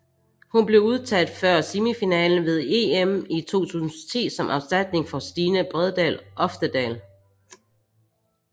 Hun blev udtaget før semifinalen ved EM i 2010 som erstatning for Stine Bredal Oftedal